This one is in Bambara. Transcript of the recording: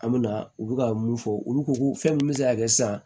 An me na u bɛ ka mun fɔ olu ko ko fɛn min bɛ se ka kɛ sisan